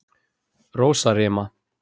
Rósarima